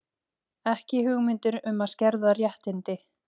Ekki hugmyndir um að skerða réttindi